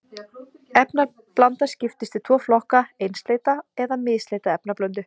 Efnablanda skiptist í tvo flokka, einsleita eða misleita efnablöndu.